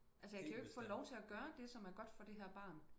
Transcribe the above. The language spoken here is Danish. Altså jeg kan jo ikke få lov til at gøre det som er godt for det her barn